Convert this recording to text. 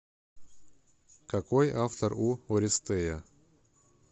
какой автор у орестея